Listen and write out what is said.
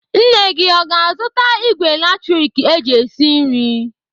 Nne gị o ga-azụta ìgwè latrik eji esi nri?